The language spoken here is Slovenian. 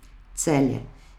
Celje.